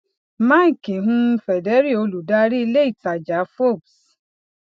mike um federle olùdarí iléìtajà forbes